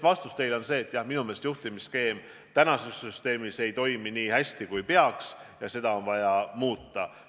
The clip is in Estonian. Vastus teile on see, et jah, minu meelest ei toimi juhtimisskeem täna nii hästi, kui peaks, ja seda on vaja muuta.